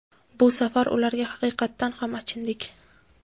Bu safar ularga haqiqatan ham achindik.